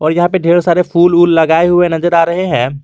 और यहां पे ढेरों सारे फूल वूल लगाए हुए नजर आ रहे हैं।